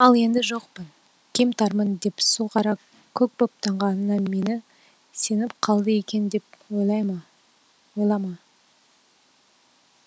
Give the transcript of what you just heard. ал енді жоқпын кем тармын деп су қара көк боп таңғанына мені сеніп қалды екен деп ойлама